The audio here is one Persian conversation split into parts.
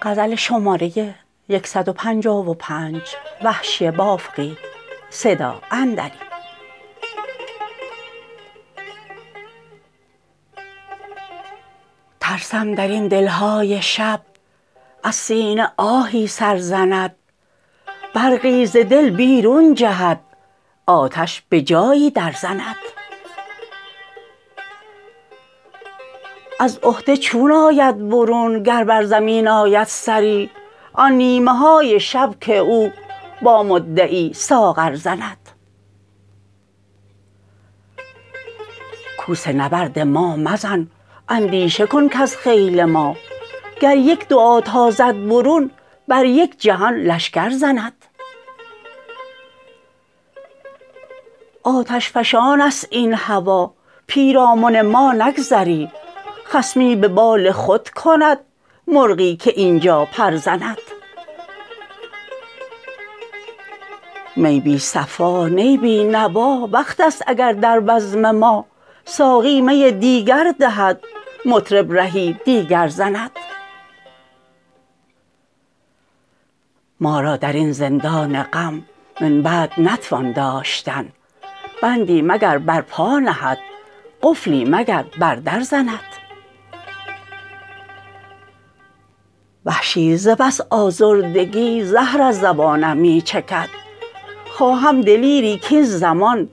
ترسم در این دلهای شب از سینه آهی سرزند برقی ز دل بیرون جهد آتش به جایی درزند از عهده چون آید برون گر بر زمین آمد سری آن نیمه های شب که او با مدعی ساغر زند کوس نبرد ما مزن اندیشه کن کز خیل ما گر یک دعا تازد برون بر یک جهان لشکر زند آتشفشانست این هوا پیرامن ما نگذری خصمی به بال خود کند مرغی که اینجا پرزند می بی صفا نی بی نوا وقتست اگر در بزم ما ساقی می دیگر دهد مطرب رهی دیگر زند ما را درین زندان غم من بعد نتوان داشتن بندی مگر بر پا نهد قفلی مگر بر در زند وحشی ز بس آزردگی زهر از زبانم می چکد خواهم دلیری کاین زمان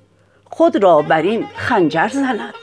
خود را بر این خنجر زند